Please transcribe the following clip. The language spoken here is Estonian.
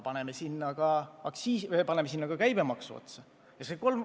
Aga paneme sinna ka käibemaksu otsa!